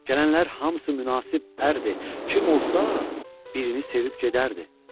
Gələnlər hamısı münasib ərdir, kim olsa, birini sevib gedərdi.